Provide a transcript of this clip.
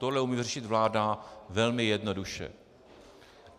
Tohle umí řešit vláda velmi jednoduše.